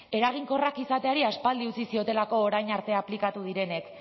eraginkorrak izateari aspaldi utzi ziolako orain arte aplikatu direnek